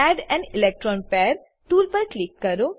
add an electron pair tool પર click કરો